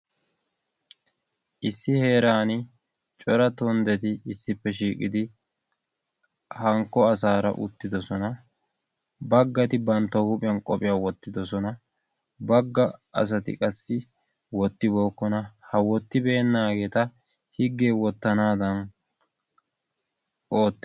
issi heeran cora tonddeti issippe shiiqidi hankko asaara uttidosona. baggati bantta huuphiyan qophiyaa wottidosona. bagga asati qassi wottibookkona ha wottibeennaageeta higgee wottanaadan ootees.